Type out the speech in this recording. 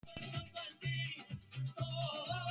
Loks kom það.